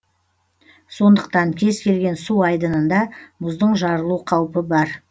сондықтан кез келген су айдынында мұздың жарылу қаупі бар